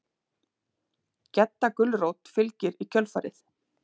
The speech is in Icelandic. Gedda gulrót fylgir í kjölfarið.